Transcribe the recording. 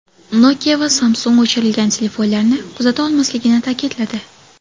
Nokia va Samsung o‘chirilgan telefonlarni kuzata olmasligini ta’kidladi.